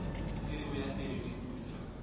eo ya tedu di putswa